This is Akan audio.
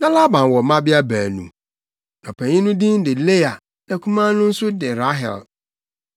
Na Laban wɔ mmabea baanu. Na ɔpanyin no din de Lea na akumaa no nso de Rahel.